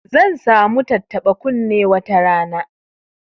Zan sa mu tattaba kunne wata rana